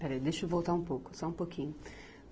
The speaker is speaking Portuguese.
Peraí, deixa eu voltar um pouco, só um pouquinho.